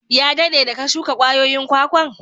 Ya dadde da ka shuka kwayoyin kwakwan?